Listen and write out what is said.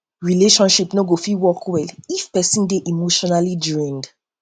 um relationship no go fit work well if pesin um dey emotionally drained dey emotionally drained